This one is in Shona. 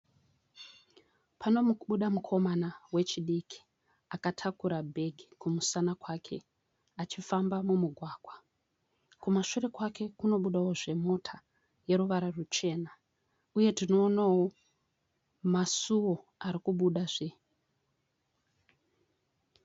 Panomubuda mukomana wechidiki akatakura bhegi kumusana kwake achifamba mumugwagwa. Kumashure kwake kunobudawozve mota yeruvara rwuchena uyezve tinoonawo masuwo arikubhudazve.